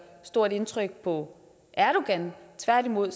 stort indtryk på erdogan tværtimod